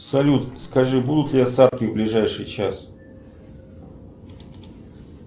салют скажи будут ли осадки в ближайший час